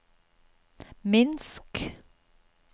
Minsk